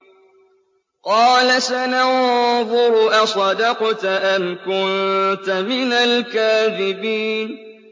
۞ قَالَ سَنَنظُرُ أَصَدَقْتَ أَمْ كُنتَ مِنَ الْكَاذِبِينَ